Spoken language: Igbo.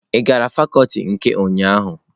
Ị gara fakuti nke ụnyahụ?